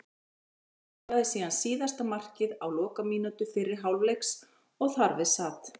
Emil skoraði síðan síðasta markið á lokamínútu fyrri hálfleiks og þar við sat.